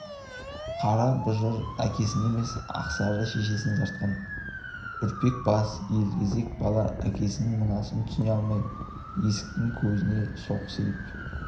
қара бұжыр әкесіне емес ақсары шешесіне тартқан үрпек бас елгезек бала әкесінің мынасын түсіне алмай есіктің көзінде состиып